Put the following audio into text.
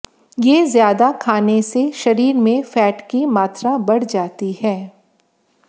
ये ज्यादा खाने से शरीर में फैट की मात्रा बढ़ जाती है